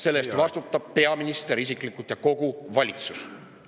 Selle eest vastutab peaminister isiklikult ja kogu valitsus.